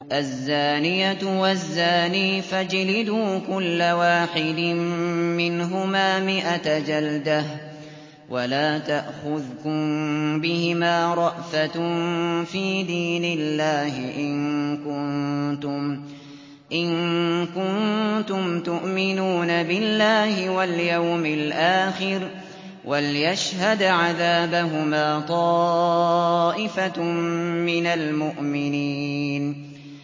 الزَّانِيَةُ وَالزَّانِي فَاجْلِدُوا كُلَّ وَاحِدٍ مِّنْهُمَا مِائَةَ جَلْدَةٍ ۖ وَلَا تَأْخُذْكُم بِهِمَا رَأْفَةٌ فِي دِينِ اللَّهِ إِن كُنتُمْ تُؤْمِنُونَ بِاللَّهِ وَالْيَوْمِ الْآخِرِ ۖ وَلْيَشْهَدْ عَذَابَهُمَا طَائِفَةٌ مِّنَ الْمُؤْمِنِينَ